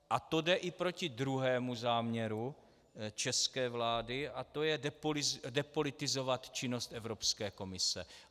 A to jde i proti druhému záměru české vlády, a to je depolitizovat činnost Evropské komise.